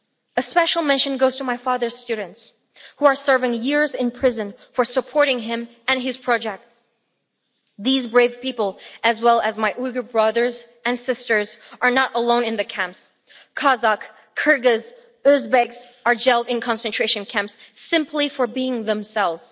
A special mention goes to my father's students who are serving years in prison for supporting him and his projects. These brave people, as well as my Uyghur brothers and sisters, are not alone in the camps. Kazakh, Kyrgyz, Uzbek people are jailed in concentration camps simply for being themselves.